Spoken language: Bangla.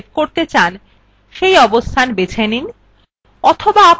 পূর্বের মতই আপনি যেখানে save করতে চান সেই অবস্থান বেছে নিন